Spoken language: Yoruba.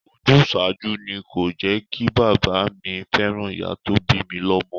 Ojúsàájú ni kò jẹkí bàbá mi fẹ́ràn ìyá tó bi lọmọ.